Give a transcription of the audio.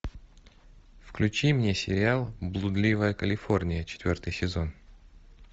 включи мне сериал блудливая калифорния четвертый сезон